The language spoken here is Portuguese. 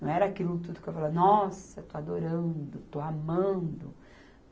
Não era aquilo tudo que eu falava, nossa, estou adorando, estou amando.